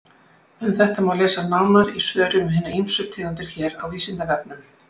Um þetta má lesa nánar í svörum um hinar ýmsu tegundir hér á Vísindavefnum.